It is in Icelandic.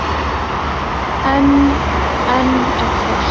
En enn er hvasst.